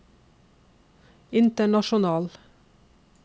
international